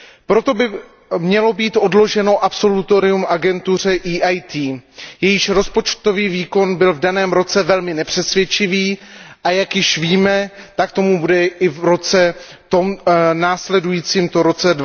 Proto by mělo být odloženo udělení absolutoria agentuře EIT, jejíž rozpočtový výkon byl v daném roce velmi nepřesvědčivý a jak již víme, tak tomu bude i v roce následujícím, to je v roce